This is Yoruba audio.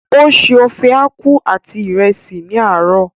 O se ofe aku àti ìrẹsì ní àárò.